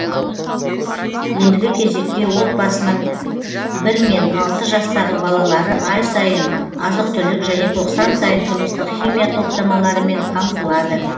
ендігі кезекте отбасының бір мен алты жастағы балалары ай сайын азық түлік және тоқсан сайын тұрмыстық химия топтамаларымен қамтылады